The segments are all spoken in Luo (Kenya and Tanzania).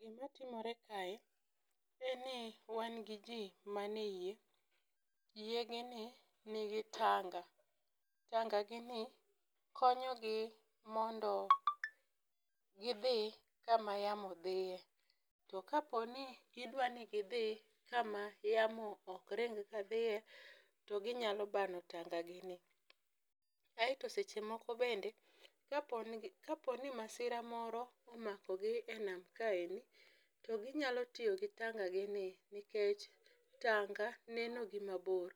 Gima timore kae en ni wan gi ji manie yie. Yie gi ni nigi tanga. Tanga gi ni konyogi mondo gi dhi kama yamo dhie. To ka po ni gi dwa ni gidhi kama yamo ok ring ka dhie to ginyalo bano tanga gi ni. Aeto seche moko bende, ka po nigi, ka po ni masira moro omako gi e nam kaendi, to ginyalo tiyo gi tanga gi ni, nikech tanga neno gi mabor.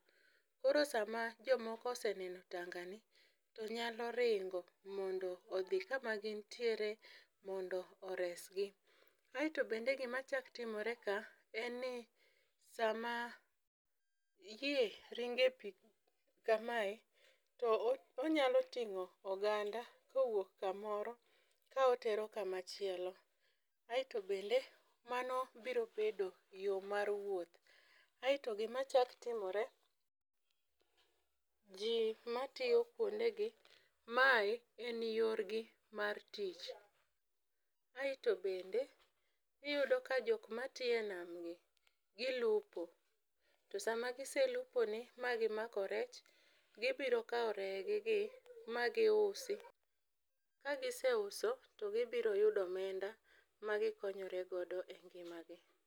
Koro sama jomoko oseneno tanga gi ni, to nyalo ringo mondo odhi kama gintire mondo oresgi. Aeto bende gima chak timore ka, en ni sama, yie ringo e pi kamae, to o onyalo ting'o oganda kowuok kamoro ka otero kama chielo. Aeto bende mano biro bedo yo mar wuoth, Aeto gima chak timore, ji matiyo kuondegi, mae en yorgi mar tich. Aeto bende iyudo ka jok ma tiyo e nam gi, gilupo. To sama giseluponi ma gimako rech, gibiro kawo re gi gi ma giusi, kagiseuso to gibiro yudo omenda ma gikonyoregodo e ngima gi.